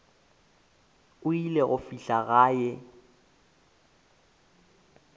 o ile go fihla gae